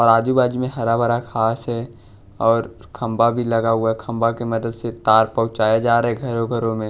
और आजू बाजू में हरा भरा घास है और खंभा भी लगा हुआ है खंभा की मदद से तार पहुँचाया जा रहा है घरों घरों में--